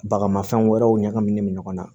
Bagamafɛn wɛrɛw ɲagaminen don ɲɔgɔn na